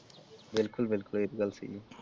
ਬਿਲਕੁਲ ਬਿਲਕੁਲ ਇਹ ਤੇ ਗੱਲ ਸਹੀ ਆ।